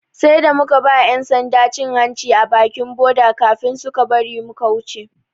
Sai da muka ba 'yan sanda cin hanci a bakin boda kafin suka bari muka wuce.